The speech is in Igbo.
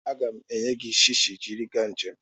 Aga m enye gị shishi jiri gaa njem.